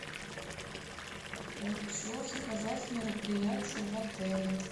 хочу заказать мероприятие в отеле